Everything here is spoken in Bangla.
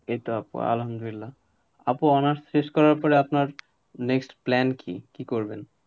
এই তো আপু, আল্লাহামদুলিল্লাহ, আপু honours শেষ করার পরে আপনার next plan কি? কি করবেন?